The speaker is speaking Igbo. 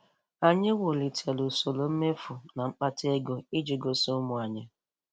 Anyị wulitere usoro mmefu na mkpata ego iji gosị ụmụ anyị.